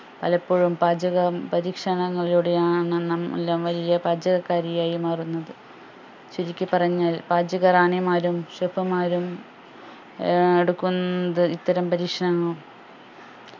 പലപ്പോഴും പാചക പരീക്ഷണങ്ങളിലൂടെയാണ് നമ്മളെല്ലാംവലിയ പാചകക്കാരിയായി മാറുന്നത് ചുരുക്കി പറഞ്ഞാൽ പാചക റാണിമാരും chef മാരും ഏർ എടുക്കുന്നത് ഇത്തരം പരീക്ഷങ്ങളാണ്